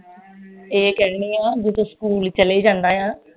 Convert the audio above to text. ਇਹ ਕਹਿਣੀ ਆ ਵੀ ਜਦੋਂ ਸਕੂਲ ਚਲੇ ਜਾਂਦਾ ਆ